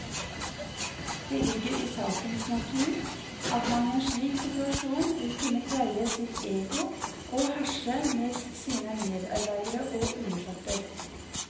Det ligger i sakens natur at man i en slik situasjon vil kunne pleie sitt ego og herse med sine medarbeidere og undersåtter.